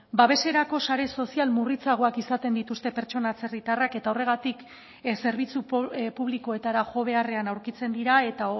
babeserako sare sozial murritzagoak izaten dituzte pertsona atzerritarrak eta horregatik zerbitzu publikoetara jo beharrean aurkitzen dira eta